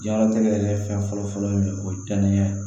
Diɲɛlatigɛ yɛrɛ fɛn fɔlɔ fɔlɔ ye mun o ye danni ye